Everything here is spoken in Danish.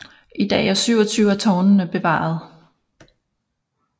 I dag er 27 af tårnene bevaret